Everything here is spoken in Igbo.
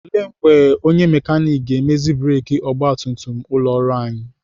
Ele mgbe onye mekanik ga-emezi breki ọgbatumtum ụlọ ọrụ anyị?